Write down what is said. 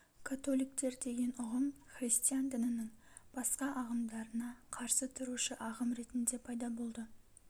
католиктер деген ұғым христиан дінінің басқа ағымдарына қарсы тұрушы ағым ретінде пайда болды